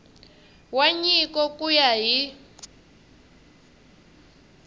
wa nyiko ku ya hi